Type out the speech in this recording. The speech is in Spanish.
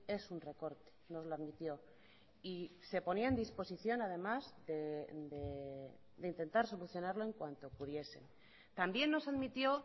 es un recorte nos lo admitió y se ponía en disposición además de intentar solucionarlo en cuanto pudiesen también nos admitió